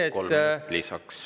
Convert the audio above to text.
Kolm minutit lisaks.